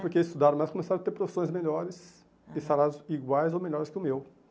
Porque estudaram, mas começaram a ter profissões melhores e salários iguais ou melhores que o meu.